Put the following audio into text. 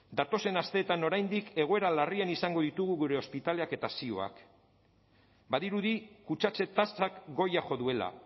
datozen asteetan oraindik egoera larrian izango ditugu gure ospitaleak eta ziuak badirudi kutsatze tasak goia jo duela